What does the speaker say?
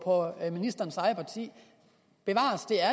og ministerens eget parti bevares det er